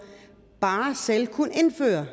bare selv kunne indføre